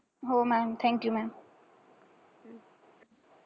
हो maam. thank you maam.